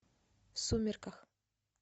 в сумерках